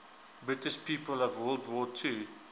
british people of world war ii